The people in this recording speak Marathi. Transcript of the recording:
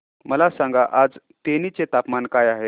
मला सांगा आज तेनी चे तापमान काय आहे